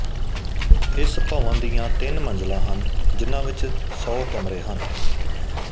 ਇਸ ਭਵਨ ਦੀਆਂ ਤਿੰਨ ਮੰਜ਼ਿਲਾਂ ਹਨ ਜਿਨ੍ਹਾਂ ਵਿਚ ਸੌ ਕਮਰੇ ਹਨ